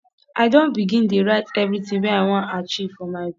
i don begin dey write everytin wey i wan achieve for my book